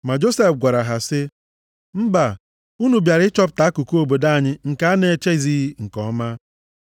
Ma Josef gwara ha sị, “Mba! Unu bịara ịchọpụta akụkụ obodo anyị nke a na-echezighị nke ọma.”